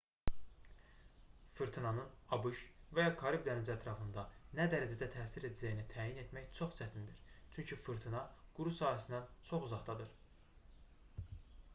fırtınanın abş və ya karib dənizi ətrafına nə dərəcədə təsir edəcəyini təyin etmək çox çətindir çünki fırtına quru sahəsindən çox uzaqdadır